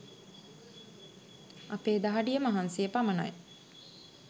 අපේ දහඩිය මහන්සිය පමනයි.